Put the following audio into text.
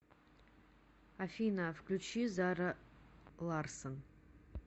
афина включи зара ларсон